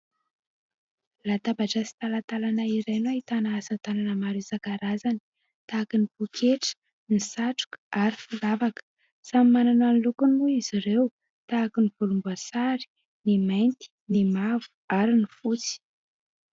Latabatra sy talantalana iray no ahitana asa tanana maro isan-karazany tahaka ny poketra, ny satroka ary firavaka. Samy manana ny lokony moa izy ireo. Tahaka ny volomboasary, ny mainty, ny mavo ary ny fotsy.